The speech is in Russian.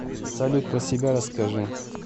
салют про себя расскажи